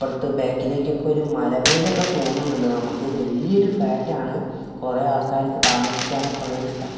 അപ്പുറത്ത് ബാക്കിലേക്ക് ഒരു മല പോലെ തോന്നുന്നുണ്ട് നമുക്ക് വലിയൊരു ഫ്ലാറ്റ് ആണ് കുറെ ആൾക്കാർക്ക് താമസിക്കാൻ ഒക്കെ ഉള്ള ഒരു സ്ഥലം.